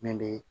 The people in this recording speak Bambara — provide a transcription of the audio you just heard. Min be